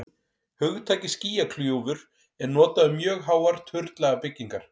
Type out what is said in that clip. hugtakið skýjakljúfur er notað um mjög háar turnlaga byggingar